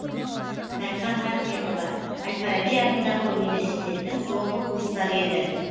райхан рахметова әл фараби атындағы университеттің соңғы курстары еді